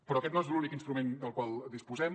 però aquest no és l’únic instrument del qual disposem